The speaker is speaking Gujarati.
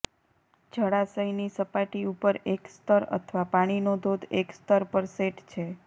જળાશયની સપાટી ઉપર એક સ્તર અથવા પાણીનો ધોધ એક સ્તર પર સેટ છે